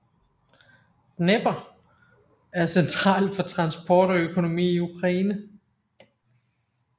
Dnepr er central for transport og økonomi i Ukraine